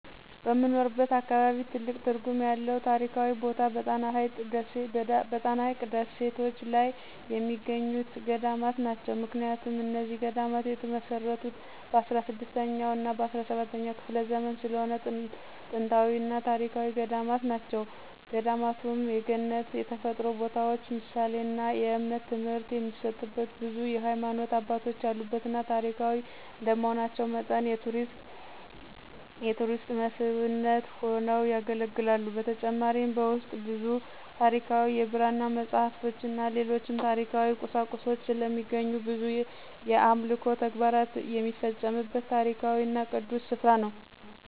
በምኖርበት አካባቢ ትልቅ ትርጉም ያለው ታሪካዊ ቦታ በጣና ሀይቅ ደሴቶች ላይ የሚገኙት ገዳማት ናቸው። ምክንያቱም እነዚህ ገዳማት የተመሰረቱት በ16ኛ እና በ17ኛ ክፍለ ዘመን ስለሆነ ጥንታዊና ታሪካዊ ገዳማት ናቸው። ገዳማቱም የገነት የተፈጥሮ ቦታዎች ምሳሌና የእምነት ትምህርት የሚሰጥበት ብዙ የሀይማኖት አባቶች ያሉበትና ታሪካዊ እንደመሆናቸው መጠን የቱሪስት መስህብነት ሆነው ያገለግላሉ። በተጨማሪም በውስጡ ብዙ ታሪካዊ የብራና መፅሃፍቶችን ሌሎችም ታሪካዊ ቁሳቁሶች ስለሚገኙ ብዙ የአምልኮ ተግባር የሚፈፀምበት ታሪካዊና ቅዱስ ስፍራ ነው።